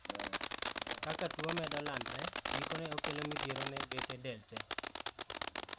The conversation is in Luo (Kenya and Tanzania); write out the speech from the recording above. Kaka tuo medo landre, gikone okelo midhiero ne bethe del tee.